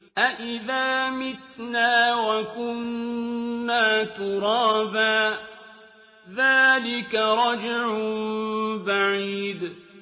أَإِذَا مِتْنَا وَكُنَّا تُرَابًا ۖ ذَٰلِكَ رَجْعٌ بَعِيدٌ